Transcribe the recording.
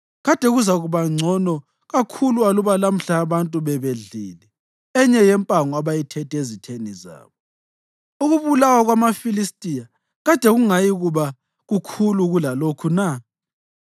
Kade kuzakuba ngcono kakhulu aluba lamhla abantu bebedlile enye yempango abayithethe ezitheni zabo. Ukubulawa kwamaFilistiya kade kungayikuba kukhulu kulalokhu na?”